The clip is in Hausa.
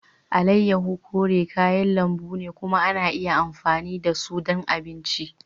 Alayyahu kore kayan lambu ne kuma ana iya amfani da su ɗon abinci.